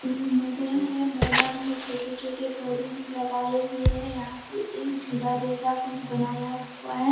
Building है मैदान मैं छोटे छोटे पौधे भी लगाए हुए हैं | यहाँ पे एक झूला जैसा कुछ बनाया हुआ है।